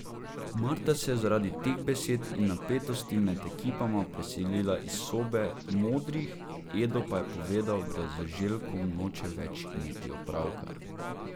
Marta se je zaradi teh besed in napetosti med ekipama preselila iz sobe modrih, Edo pa je povedal, da z Željkom noče več imeti opravka.